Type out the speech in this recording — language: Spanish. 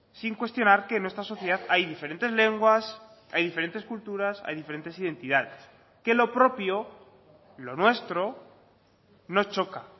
sin cuestionar que en nuestra sociedad hay diferentes lenguas hay diferentes culturas hay diferentes identidades que lo propio lo nuestro no choca